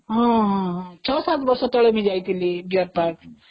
ହଁ ହଁ ୬୭ ବର୍ଷ ତଳେ ବି ଯାଇଥିଲି deer ପାର୍କ